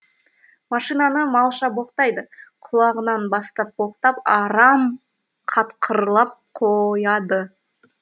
машинаны малша боқтайды құлағынан бастап боқтап арам қатқырлап қояды